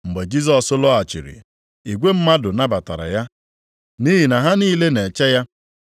Mgbe Jisọs lọghachiri, igwe mmadụ nabatara ya nʼihi na ha niile na-eche ya.